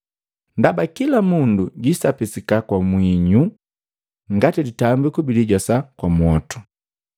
“Ndaba kila mundu jwiisapisika kwa mwinyu ngati litambiku bilijosa kwa mwotu.